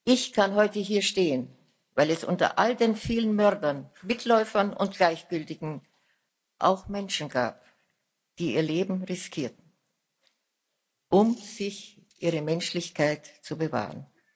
Ich kann heute hier stehen, weil es unter all den vielen Mördern, Mitläufern und Gleichgültigen auch Menschen gab, die ihr Leben riskierten, um sich ihre Menschlichkeit zu bewahren.